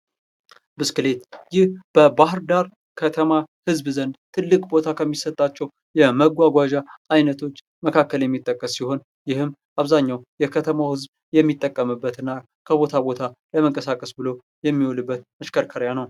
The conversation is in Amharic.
ብስክሌት በባህር ዳር ከተማ ህዝብ ዘንድ ትልቅ ቦታ ከሚሰጣቸው የመጓጓዣ ዓይነቶች መካከል የሚጠቀስ ሲሆን ፤ ይህም በአብዛኛው የከተማው ህዝብ የሚጠቀምበት እና ከቦታ ቦታ ለመንቀሳቀስ ብለው የሚውልበት መሽከርከሪያ ነው።